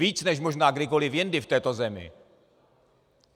Víc než možná kdykoliv jindy v této zemi.